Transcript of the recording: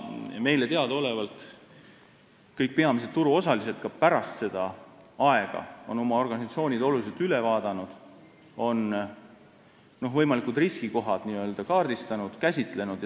Meile teadaolevalt on kõik peamised turuosalised pärast seda oma organisatsioonid üle vaadanud ja võimalikud riskikohad üles leidnud.